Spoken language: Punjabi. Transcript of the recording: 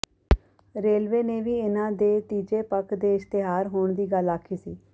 ਰੇਲਵੇ ਨੇ ਵੀ ਇਨ੍ਹਾਂ ਦੇ ਤੀਜੇ ਪੱਖ ਦੇ ਇਸ਼ਤਿਹਾਰ ਹੋਣ ਦੀ ਗੱਲ ਆਖੀ ਸੀ